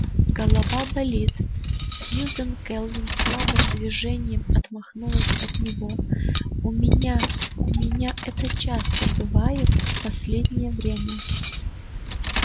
голова болит сьюзен кэлвин слабым движением отмахнулась от него у меня у меня это часто бывает в последнее время